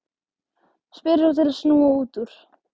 spyr hún til að snúa út úr.